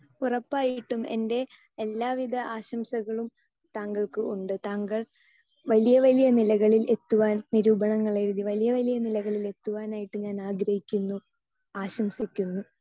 Speaker 2 ഉറപ്പായിട്ടും എൻറെ എല്ലാവിധ ആശംസകളും താങ്കൾക്ക് ഉണ്ട്. താങ്കൾ വലിയ വലിയ നിലകളിൽ എത്തുവാൻ നിരൂപണങ്ങൾ എഴുതി വലിയ വലിയ നിലകളിൽ എത്തുവാനായിട്ട് ഞാൻ ആഗ്രഹിക്കുന്നു, ആശംസിക്കുന്നു.